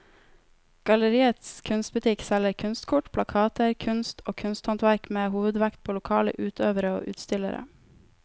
Galleriets kunstbutikk selger kunstkort, plakater, kunst og kunsthåndverk med hovedvekt på lokale utøvere og utstillere.